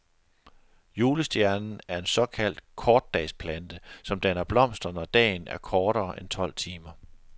Julestjernen er en såkaldt kortdagsplante, som danner blomster, når dagen er kortere end tolv timer.